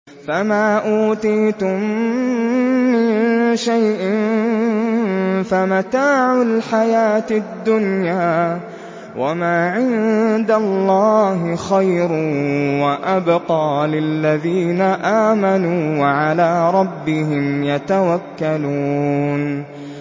فَمَا أُوتِيتُم مِّن شَيْءٍ فَمَتَاعُ الْحَيَاةِ الدُّنْيَا ۖ وَمَا عِندَ اللَّهِ خَيْرٌ وَأَبْقَىٰ لِلَّذِينَ آمَنُوا وَعَلَىٰ رَبِّهِمْ يَتَوَكَّلُونَ